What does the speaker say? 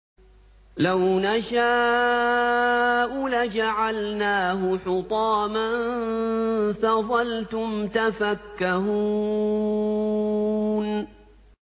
لَوْ نَشَاءُ لَجَعَلْنَاهُ حُطَامًا فَظَلْتُمْ تَفَكَّهُونَ